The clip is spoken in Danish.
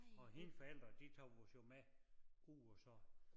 Og hendes forældre de tog os jo med ud og så